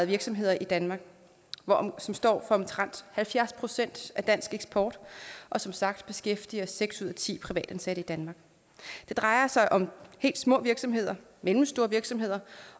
virksomheder i danmark som står for omtrent halvfjerds procent af dansk eksport og som sagt beskæftiger seks ud af ti privatansatte i danmark det drejer sig om helt små virksomheder mellemstore virksomheder